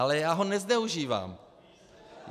Ale já ho nezneužívám.